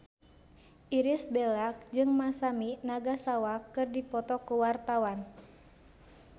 Irish Bella jeung Masami Nagasawa keur dipoto ku wartawan